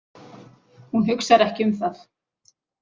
Hún hugsar ekki um það.